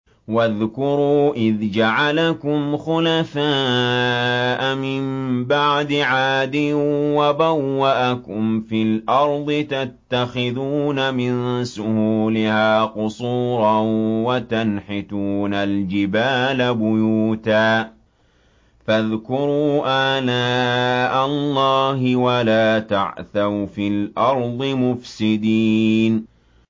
وَاذْكُرُوا إِذْ جَعَلَكُمْ خُلَفَاءَ مِن بَعْدِ عَادٍ وَبَوَّأَكُمْ فِي الْأَرْضِ تَتَّخِذُونَ مِن سُهُولِهَا قُصُورًا وَتَنْحِتُونَ الْجِبَالَ بُيُوتًا ۖ فَاذْكُرُوا آلَاءَ اللَّهِ وَلَا تَعْثَوْا فِي الْأَرْضِ مُفْسِدِينَ